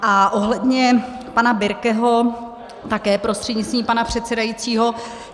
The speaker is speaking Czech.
A ohledně pana Birkeho, také prostřednictvím pana předsedajícího.